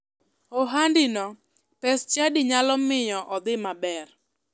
Ohandino pes chadi nyalo miyo odhi maber.